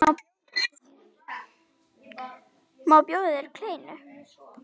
Má bjóða þér kleinu?